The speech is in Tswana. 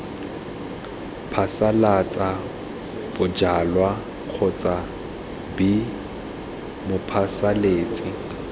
phasalatsa bojalwa kgotsa b mophasalatsi